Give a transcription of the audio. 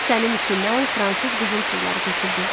Kisənin içindən fransız qızıl pulları töküldü.